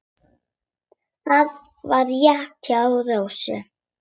Það var rétt hjá Rósu.